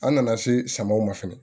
An nana se samaw ma fɛnɛ